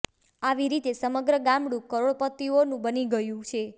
આવી રીતે સમગ્ર ગામડું કરોડપતિઓનું બની ગયું છે